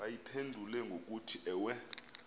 bayiphendule ngokuthi ewe